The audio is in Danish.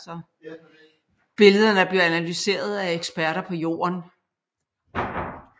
Billederne bliver analyseret af eksperter på Jorden